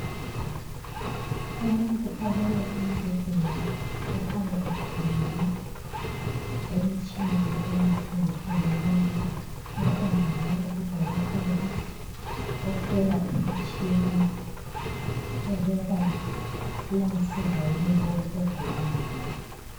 Umuntu olele embhedeni okhanya exhunyiwe emtshineni eyehlukehlukeneyo. Kukhona njalo udokotela ohlola imtshina ukuba iyamsiza yini lowo ogulayo.